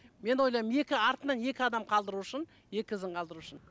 мен ойлаймын екі артынан екі адам қалдыру үшін екі ізін қалдыру үшін